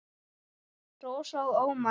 Rósa og Ómar.